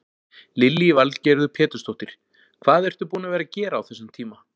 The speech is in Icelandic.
Lillý Valgerður Pétursdóttir: Hvað ertu búin að vera að gera á þessum tíma?